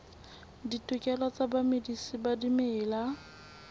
ditokelo tsa bamedisi ba dimela